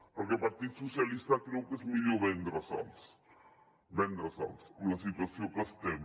perquè el partit socialistes creu que és millor vendre se’ls vendre se’ls en la situació que estem